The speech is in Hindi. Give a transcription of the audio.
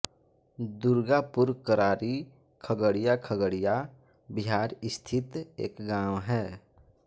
दुर्गापुरकरारी खगड़िया खगड़िया बिहार स्थित एक गाँव है